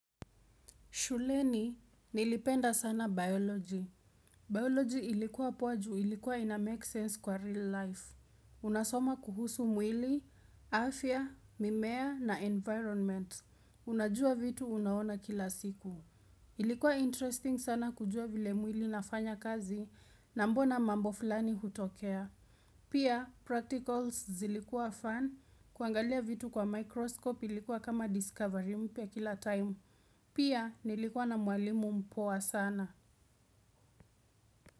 Shuleni, nilipenda sana biology. Biology ilikuwa poa juu ilikuwa ina make sense kwa real life. Unasoma kuhusu mwili, afya, mimea na environment. Unajua vitu unaona kila siku. Ilikuwa interesting sana kujuwa vile mwili inafanya kazi na mbona mambo fulani hutokea pia, practicals zilikua fan kuangalia vitu kwa microscope ilikuwa kama discovery mpya kila time. Pia nilikuwa na mwalimu mpoa sana.